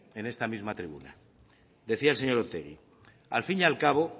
en esta misma tribuna decía el señor otegi al fin y al cabo